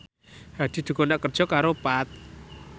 Hadi dikontrak kerja karo Path